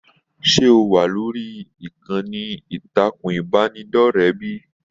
Se o wà lórí ìkànnì ìtàkùn ìbánidọ̀rẹ̀ bíi?